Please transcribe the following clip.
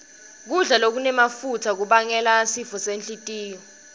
kudla lokunemafutsa kubangela sifo senhlitiyo